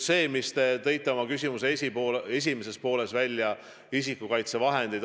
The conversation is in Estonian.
Te tõite oma küsimuse esimeses pooles välja isikukaitsevahendid.